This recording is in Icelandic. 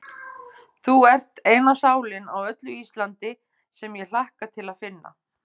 Þú ert eina sálin á öllu Íslandi, sem ég hlakka til að finna.